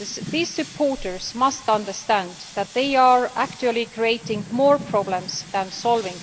These supporters must understand that they are actually creating more problems than they solve.